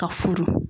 Ka furu